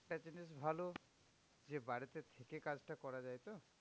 একটা জিনিস ভালো যে বাড়িতে থেকে কাজটা করা যায় তো?